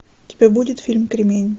у тебя будет фильм кремень